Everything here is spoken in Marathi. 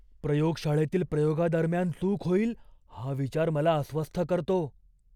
प्रयोगशाळेतील प्रयोगादरम्यान चूक होईल हा विचार मला अस्वस्थ करतो.